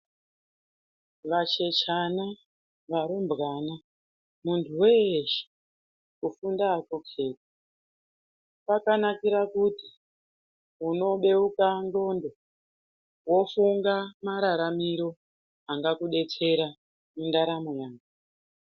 Vachechana varumbwana muntu weshe kufunda akuketi kwakanakira kuti unobeuka ndxondo wofunga mararamiro angakudetwera mundaramo mwako.